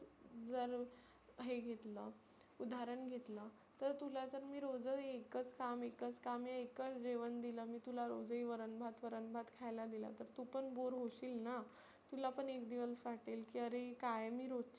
जर हे घतलं उदाहरण घेतलं तर तुला जर मी रोज एकच काम एकच काम आणि एकच जेवण दिलं मी तुला रोजही वरन भात वरन भात खायला दिला तर तु पण bore होशील ना. तुलापण एक दिवस वाटेल कि अरे काय मी रोजची हेच